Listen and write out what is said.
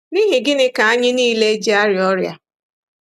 N'ihi gịnị ka anyị nile ji arịa ọrịa?